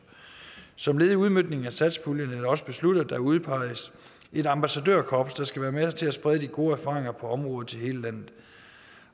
som led i udmøntningen af satspuljen er det også besluttet at der udpeges et ambassadørkorps der skal være med til at sprede de gode erfaringer på området til hele landet